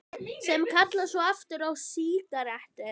Sem kalla svo aftur á sígarettu.